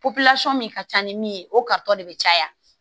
min ka ca ni min ye o kata de bɛ caya